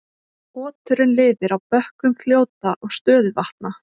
Oturinn lifir á bökkum fljóta og stöðuvatna.